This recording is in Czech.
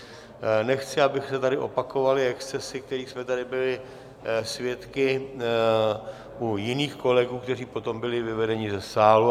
Nechci, aby se tady opakovaly excesy, kterých jsme tady byli svědky u jiných kolegů, kteří potom byli vyvedeni ze sálu.